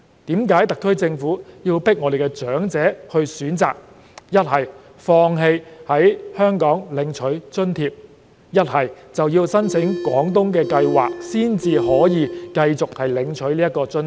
為何特區政府要強迫長者選擇，要不放棄在香港領取津貼，要不申請廣東計劃才可以繼續領取津貼？